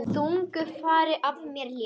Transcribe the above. Þungu fargi af mér létt.